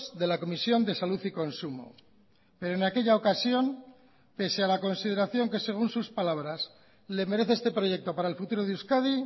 de la comisión de salud y consumo pero en aquella ocasión pese a la consideración que según sus palabras le merece este proyecto para el futuro de euskadi